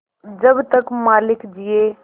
जब तक मालिक जिये